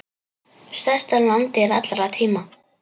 Stærsta landdýr allra tíma.